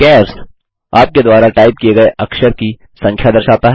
चार्स -आपके द्वारा टाइप किए गए अक्षरों की संख्या दर्शाता है